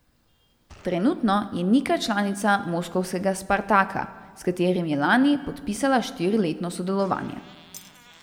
Trenutno je Nika članica moskovskega Spartaka, s katerim je lani podpisala štiriletno sodelovanje.